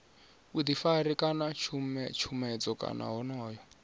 vhuḓifari kana tshutshedzo kana wonoyo